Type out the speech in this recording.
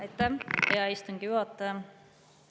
Aitäh, hea istungi juhataja!